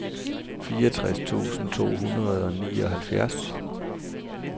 fireogtres tusind to hundrede og nioghalvfjerds